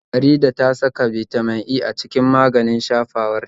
Faridah ta saka Bitamin E a cikin man shafawar ta